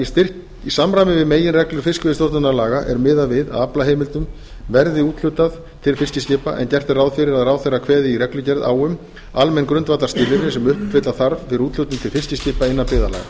fimmti í samræmi við meginreglur fiskveiðistjórnarlaga er miðað við að aflaheimildum verði úthlutað til fiskiskipa en gert er ráð fyrir að ráðherra kveði í reglugerð á um almenn grundvallarskilyrði sem uppfylla þarf fyrir úthlutun til fiskiskipa innan byggðarlaga